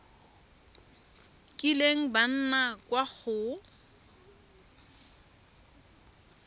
kileng ba nna kwa go